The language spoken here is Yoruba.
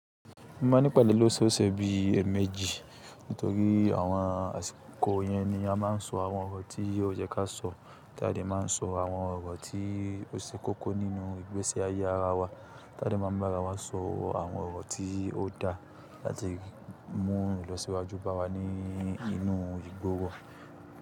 Mo ma nípade lósòosè bí èèmejì nítorí àwọn àsìkò yẹn ni a má n so àwọn ọ̀rọ̀ tí ó yẹ ká sọ, tadẹ́ máa n so àwọn ọ̀rọ̀ tí ó ṣe kókó nínú ìgbési ayé ara wa, tadẹ́ máa ń bá ara wa sọ àwọn ọ̀rọ̀ tí ó da láti mú wa lọ síwájú bá wa ní inú ìgboro.